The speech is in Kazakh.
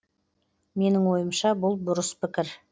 менің ойымша бұл бұрыс пікір